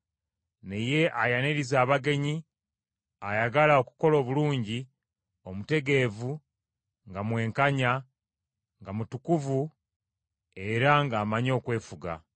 naye ayaniriza abagenyi, ayagala okukola obulungi, omutegeevu, nga mwenkanya, nga mutukuvu, era ng’amanyi okwefuga.